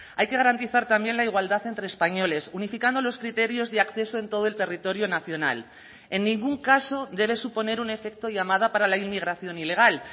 hay que garantizar también la igualdad entre españoles unificando los criterios de acceso en todo el territorio nacional en ningún caso debe suponer un efecto llamada para la inmigración ilegal